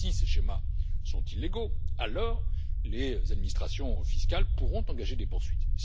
Si ces schémas sont illégaux, alors les administrations fiscales pourront engager des poursuites.